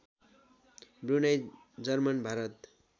Brunei German Bharat